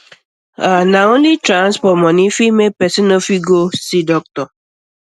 ah only transport only transport um money fit um make person nofit go see doctor